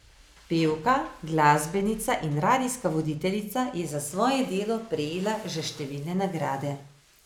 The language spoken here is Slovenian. Pevka, glasbenica in radijska voditeljica je za svoje delo prejela že številne nagrade.